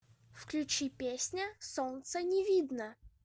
включи песня солнца не видно